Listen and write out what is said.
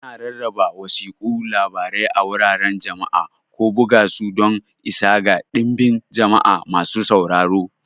Ana rarraba wasiƙun labarai a wuraren jama'a, ko buga su don isa ga dinbin jama'a masu sauraro.